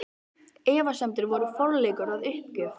Efasemdir voru aðeins forleikur að uppgjöf.